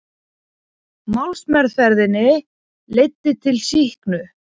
Málsmeðferðin leiddi til sýknu